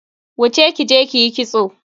Wuce kije kiyi kitso.